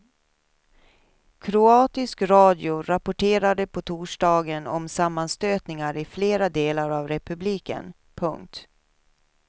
Kroatisk radio rapporterade på torsdagen om sammanstötningar i flera delar av republiken. punkt